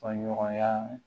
Faɲɔgɔnya